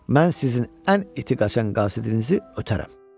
Mən sizin ən iti qaçan qasidizi ötərəm.